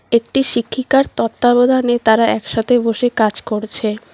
একটি শিক্ষিকার তত্ত্বাবধানে তারা একসাথে বসে কাজ করছে।